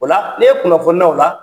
O la n'e kunnafonina o la